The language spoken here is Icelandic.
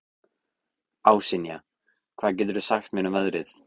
Ásynja, hvað geturðu sagt mér um veðrið?